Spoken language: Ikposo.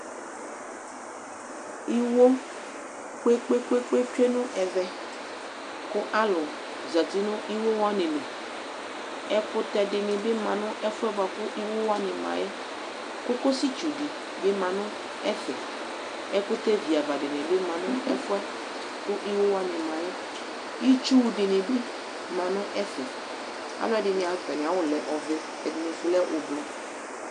Iwo kpekpeekpe tsue nʊ evɛ ku alʊ zatɩ nu ɩwo wanɩlɩ Ɛkʊtɛ dinibɩ ma nefuya bʊakʊ iwo wanɩ mayɛ Kokosɩtsudi bi ɔma nefɛ Ɛkʊtɛ vɩava dinɩbi ma nu efɛ kɩwo wanɩ ma Itsu dini ma nu efɛ Alʊɛdinɩ atamiawʊ lɛ ɔvɛ, ɛdinisu kɛ ofue